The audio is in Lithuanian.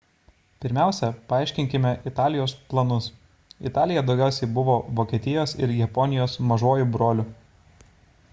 pirmiausia paaiškinkime italijos planus italija daugiausia buvo vokietijos ir japonijos mažuoju broliu